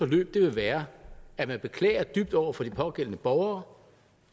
ville være at beklage dybt over for de pågældende borgere